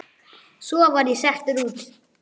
Svo var ég settur út.